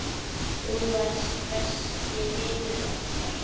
Þú varst besti vinur okkar.